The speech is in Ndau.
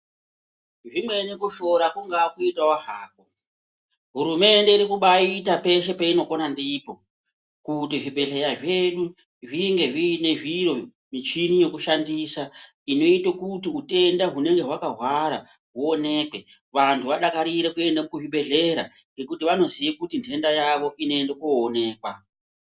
Zvimweni kushora kungaa kuitawo hako hurumende iri kubaita peshe peinokona ndipo kuti zvibhehlera zvedu zvinge zviine zviro ,michini yekushandisa inoite kuti utenda unonga hwakawhara huonekwe vanhu vadakarire kuende kuzvibhehleya ngekuti vanoziye kuti nhenda yavo inoende koonekwa.